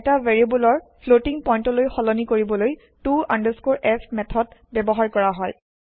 এটা variable floating point লৈ সলনি কৰিবলৈ to f মেঠদ ব্যৱহাৰ কৰা হয়